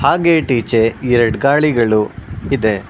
ಹಾ ಗೇಟ್ ಈಚೆ ಎರಡ್ ಗಾಡಿಗಳು ಇದೆ.